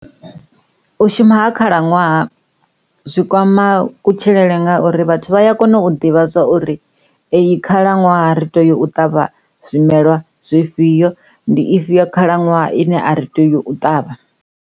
U shuma ha khalaṅwaha zwi kwama kutshilele ngauri vhathu vha a kona u ḓivha zwauri eyi khalaṅwaha ri tea u ṱavha zwimelwa zwifhio ndi ifhio khalaṅwaha ine a ri tei u ṱavha.